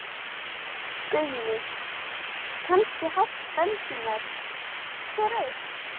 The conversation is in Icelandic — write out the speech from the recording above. Guðný: Kannski hátt bensínverð, hver veit?